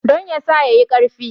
Don ya sa ya yi ƙarfi.